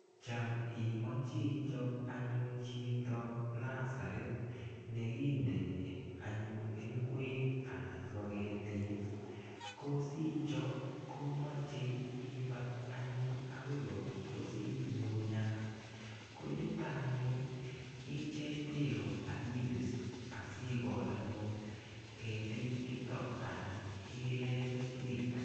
cham imoche ichop anyun chito nurserit kindonit ngwek ana ketik ko sicho. komache ipal anyun ipkopuspusik ngungunyat. koyutanyun icheng peek akipis asikol anyun ketik chutok ana ilee keswek.